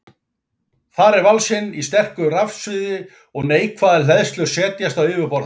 Þar er valsinn í sterku rafsviði og neikvæðar hleðslur setjast á yfirborð hans.